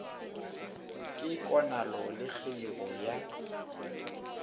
ke konalo le kgeigo ya